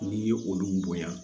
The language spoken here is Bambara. N'i ye olu bonya